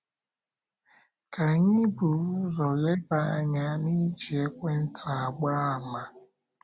Ka anyị buru ụzọ leba anya n’iji ekwentị agba àmà.